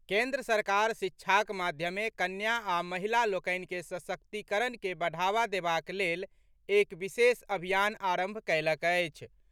केन्द्र सरकार शिक्षाक माध्यमे कन्या आ महिला लोकनि के सशक्तीकरण के बढ़ावा देबाक लेल एक विशेष अभियान आरंभ कएलक अछि।